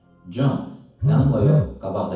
Con, yanımdan yox, qabaqda get.